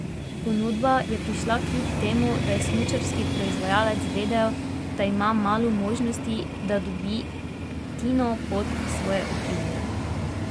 Ponudba je prišla kljub temu da je smučarski proizvajalec vedel, da ima malo možnosti, da dobi Tino pod svoje okrilje.